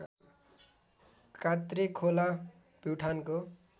कात्रे खोला प्युठानको